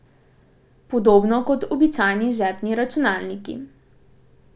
Podobno kot običajni žepni računalniki.